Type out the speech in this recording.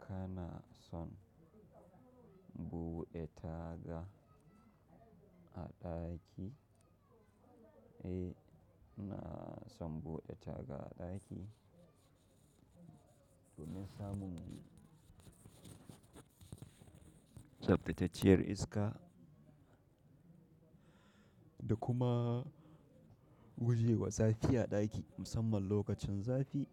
Kana son bude taga a daki, eh, ina son bude taga a daki domin samun tsaftatacciyar iska da kuma guje wa zafi a daki musamman lokacin zafi.